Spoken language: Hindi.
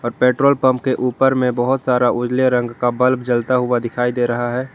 पेट्रोल पंप के ऊपर में बहोत सारा उजले रंग का बल्ब जलता हुआ दिखाई दे रहा है।